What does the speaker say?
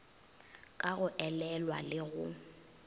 ka go elelwa le go